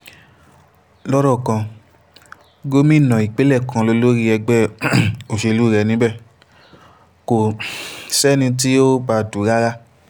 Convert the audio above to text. lọ́rọ̀ kan gómìnà ìpínlẹ̀ kan lólórí ẹgbẹ́ um òṣèlú rẹ̀ níbẹ̀ kò um sẹ́ni tí ì bá a dù ú rárá